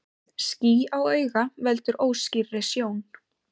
Ský á auga veldur óskýrri sjón.